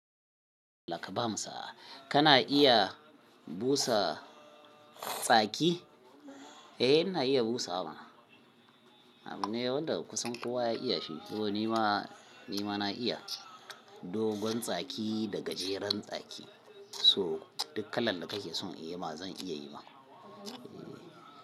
Allah ka ba mu sa. Kana iya busa tsaki? Eh ina iya busawa. A, wanda kusan kowa ya iya shi. To ni ma, ni ma na iya. Dogon tsaki da gajeren tsaki, so duk kalan da kake son inyi ma zan iya yi ma.